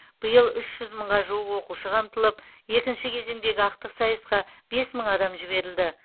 биыл үш жүз мыңға жуық оқушы қамтылып екінші кезеңдегі ақтық сайысқа бес мың адам жіберілді